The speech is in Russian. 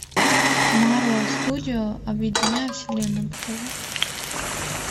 марвел студиос объединяя вселенную покажи